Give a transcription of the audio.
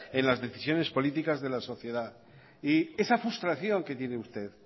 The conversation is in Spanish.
en las decisiones políticas de la sociedad yesa frustración que tiene usted